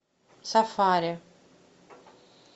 сафари